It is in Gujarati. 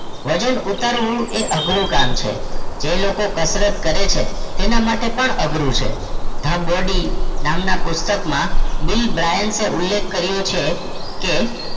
વજન ઊતરવું એ અઘરું કામ છે જે લોકો કસરત કરે છે તેના માટે પણ અઘરું છે the body નામના પુસ્તક માં બિલબરાઇન ઉલેખ કરીયો છે કે